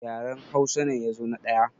Yaran Hausa ne ya zo na ɗaya